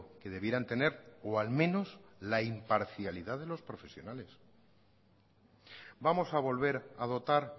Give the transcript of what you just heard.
que debieran tener o al menos la imparcialidad de los profesionales vamos a volver a dotar